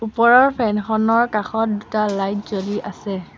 ওপৰৰ ফেন খনৰ কাষত দুটা লাইট জ্বলি আছে।